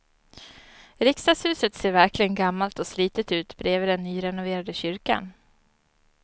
Riksdagshuset ser verkligen gammalt och slitet ut bredvid den nyrenoverade kyrkan.